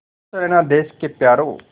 खुश रहना देश के प्यारों